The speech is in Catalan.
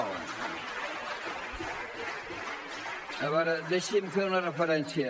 a veure deixi’m fer una referència